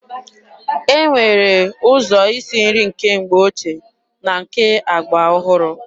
E nwere ụzọ isi nri nke mgbe ochie na nke agba ọhụrụ.